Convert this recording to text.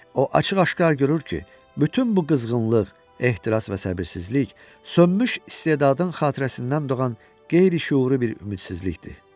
O açıq-aşkar görür ki, bütün bu qızğınlıq, ehtiras və səbirsizlik sönmüş istedadın xatirəsindən doğan qeyri-şüuru bir ümidsizlikdir.